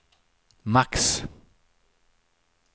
max